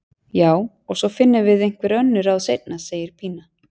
Já, og svo finnum við einhver önnur ráð seinna, segir Pína.